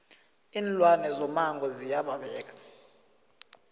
iinlwane zomango ziya babeka